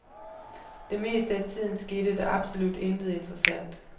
Det meste af tiden skete der absolut intet interessant.